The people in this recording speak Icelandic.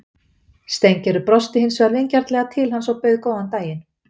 Steingerður brosti hins vegar vingjarnlega til hans og bauð góðan daginn.